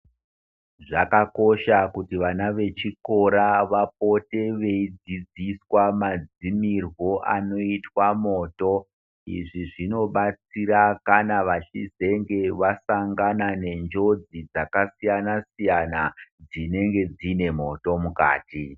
Zvakakosha kuti vana vechikora vapote veidzidziswa madzimirwo anoitwa moto izvi zvinobatsira kana vachizenge vasangana nenjodzi dzakasiyana siyana dzinenge dzine moto mukati.